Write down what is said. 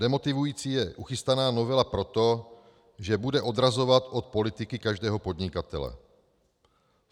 Demotivující je uchystaná novela proto, že bude odrazovat od politiky každého podnikatele.